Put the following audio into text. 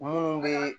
Munnu be